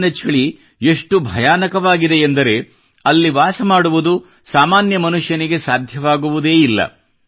ಅಲ್ಲಿನ ಚಳಿ ಎಷ್ಟು ಭಯಾನಕವಾಗಿದೆಯೆಂದರೆ ಅಲ್ಲಿ ವಾಸಮಾಡುವುದು ಸಾಮಾನ್ಯ ಮನುಷ್ಯನಿಗೆ ಸಾಧ್ಯವಾಗುವುದೇ ಇಲ್ಲ